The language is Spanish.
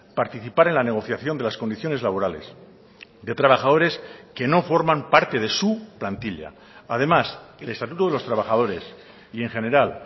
participar en la negociación de las condiciones laborales de trabajadores que no forman parte de su plantilla además el estatuto de los trabajadores y en general